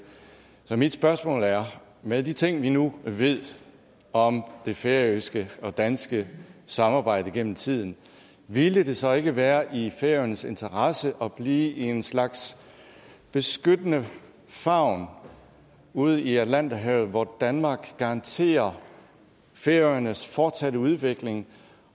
så mit spørgsmål er med de ting vi nu ved om det færøske og danske samarbejde gennem tiden ville det så ikke være i færøernes interesse at blive i en slags beskyttende favn ude i atlanterhavet hvor danmark garanterer færøernes fortsatte udvikling